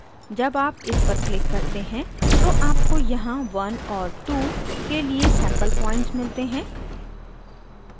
जब आप इस पर click करते हैं तो आपको यहाँ 1 और 2 के लिए sample points मिलते हैं